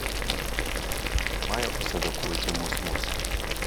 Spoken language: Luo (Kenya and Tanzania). Mae oseloko weche mos mos